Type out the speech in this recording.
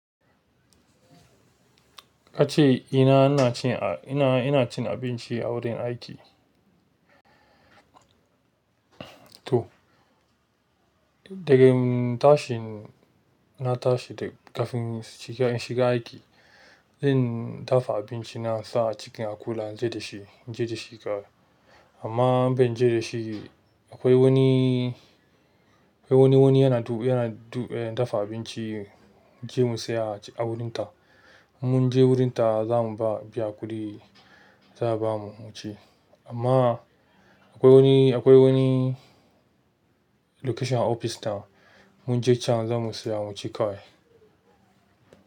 Ka ce ina ina cin ina ina cin abinci a wurin aiki? To, daga tashin na tashi daga kafin shiga shiga aiki, zan dafa abinci na sa a cikin akula na je da shi je da shi kai. Amma ban je da shi, akwai wani akwai wani wani yana du yana du eh dafa abinci, mu je mu saya a wurinta. Mun je wurinta za mu ba biya kuɗi, za su bamu mu ci. Amma akwai wani akwai wani location a ofis ta mun je can za mu saya mu ci kawai.